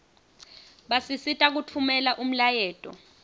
basisita kutfumela umlayeto